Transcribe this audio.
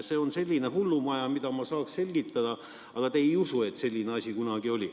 See on selline hullumaja, mida ma saaks selgitada, aga te ei usu, et selline asi kunagi oli.